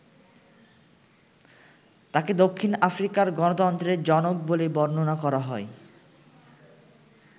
তাঁকে দক্ষিণ আফ্রিকার গণতন্ত্রের জনক বলে বর্ণনা করা হয়।